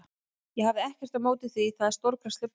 Ég hefði ekkert á móti því það er stórkostleg borg.